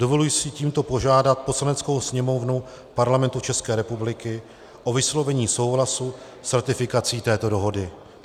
Dovoluji si tímto požádat Poslaneckou sněmovnu Parlamentu České republiky o vyslovení souhlasu s ratifikací této dohody.